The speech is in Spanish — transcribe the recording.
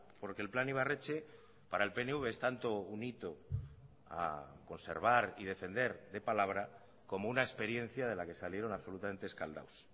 porque el plan ibarretxe para el pnv es tanto un hito a conservar y defender de palabra como una experiencia de la que salieron absolutamente escaldados